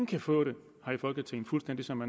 kan få det fuldstændig som